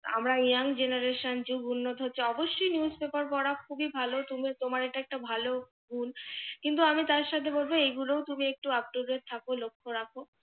আমরা young generation যুগ উন্নত হচ্ছে, অবশ্যই news paper পড়া খুবি ভাল। তুমি তোমার এটা একটা ভালো কিন্তু, আমি তার সাথে বলব, এগুলো তুমি একটু up to date থাক লক্ষ রাখ।